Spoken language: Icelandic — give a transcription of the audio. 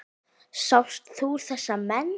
Sást þú þessa menn?